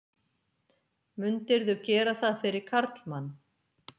Mundirðu gera það fyrir karlmann?